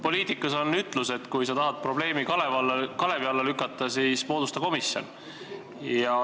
Poliitikas on ütlus, et kui sa tahad probleemi kalevi alla lükata, siis moodusta komisjon.